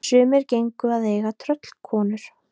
Sumir gengu að eiga tröllkonur.